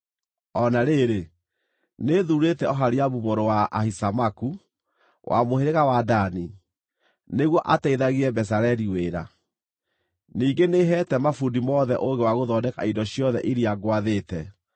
O na rĩrĩ, nĩthuurĩte Oholiabu mũrũ wa Ahisamaku, wa mũhĩrĩga wa Dani, nĩguo ateithagie Bezaleli wĩra. Ningĩ nĩheete mabundi mothe ũũgĩ wa gũthondeka indo ciothe iria ngwathĩte: